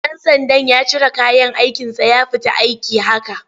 Ɗan sandan ya cire kayan aikinsa ya fita aiki haka.